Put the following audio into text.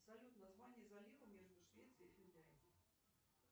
салют название залива между швецией и финляндией